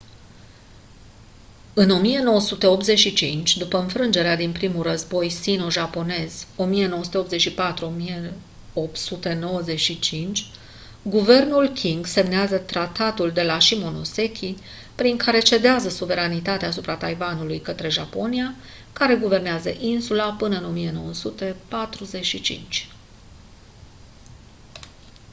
în 1985 după înfrângerea din primul război sino-japonez 1984-1895 guvernul qing semnează tratatul de la shimonoseki prin care cedează suveranitatea asupra taiwanului către japonia care guvernează insula până în 1945